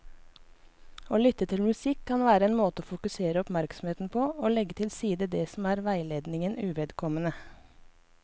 Å lytte til musikk kan være en måte å fokusere oppmerksomheten på og legge til side det som er veiledningen uvedkommende.